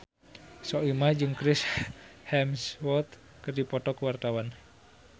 Soimah jeung Chris Hemsworth keur dipoto ku wartawan